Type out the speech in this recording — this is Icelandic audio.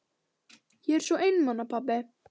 Ég er svo einmana pabbi.